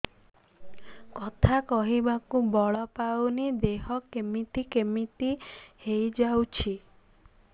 କଥା କହିବାକୁ ବଳ ପାଉନି ଦେହ କେମିତି କେମିତି ହେଇଯାଉଛି